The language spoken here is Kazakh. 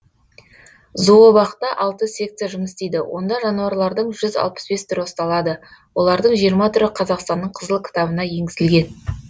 зообақта алты секция жұмыс істейді онда жануарлардың жүз алпыс бес түрі ұсталады олардың жиырма түрі қазақстанның қызыл кітабына енгізілген